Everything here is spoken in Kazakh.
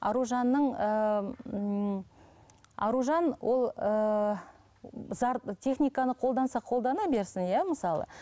аружанның ыыы ммм аружан ол ыыы техниканы қолданса қолдана берсін иә мысалы